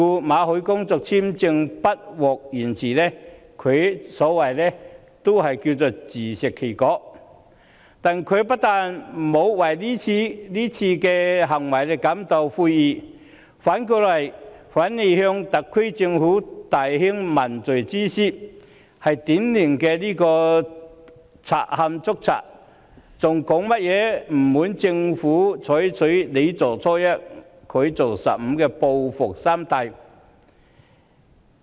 馬凱的工作簽證不獲延續，可謂自食其果，但她沒有為此感到悔意，反而向特區政府大興問罪之師，這是典型的賊喊捉賊，她還表示不滿特區政府採取"你做初一，他做十五"的報復心態。